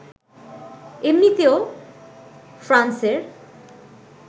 এমনিতেও ফ্রান্সের